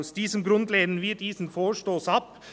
Aus diesem Grund lehnen wir diesen Vorstoss ab.